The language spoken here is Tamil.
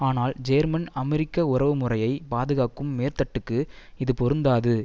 ஆனால் ஜேர்மன் அமெரிக்க உறவு முறையை பாதுகாக்கும் மேற்தட்டுக்கு இது பொருந்தாது